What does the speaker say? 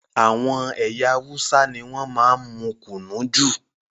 Àwọn ẹyà Hausa ní wọn máa n mú kùnú jù